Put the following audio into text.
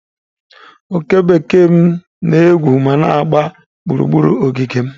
Oke bekee m na-egwu ma na-agba gburugburu ogige m.